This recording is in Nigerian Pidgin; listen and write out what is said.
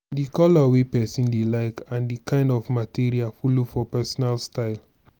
di color wey person dey like and di kind of material follow for personal style